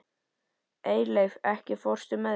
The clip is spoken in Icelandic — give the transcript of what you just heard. Eyleif, ekki fórstu með þeim?